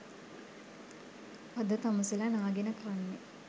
අද තමුසෙල නාගෙන කන්නෙ